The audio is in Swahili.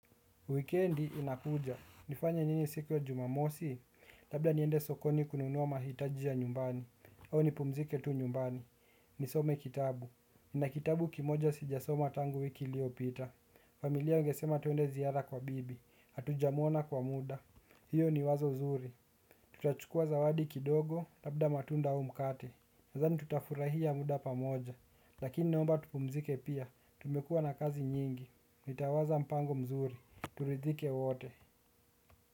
Wikendi inakuja. Nifanye nini siku ya jumamosi, labda niende sokoni kununua mahitaji ya nyumbani. Au nipumzike tu nyumbani. Nisome kitabu. Nina kitabu kimoja sijasoma tangu wiki iliyopita. Familia wangesema twende ziara kwa bibi. Hatujamwona kwa muda. Hiyo ni wazo zuri. Tutachukuwa zawadi kidogo, labda matunda au mkate. Nadhani tutafurahia muda pamoja. Lakini naomba tupumzike pia, tumekuwa na kazi nyingi. Nitawaza mpango mzuri turidhike wote.